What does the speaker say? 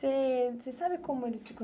Você você sabe como eles